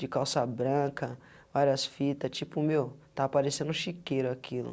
De calça branca, várias fita, tipo, meu, estava parecendo chiqueiro aquilo.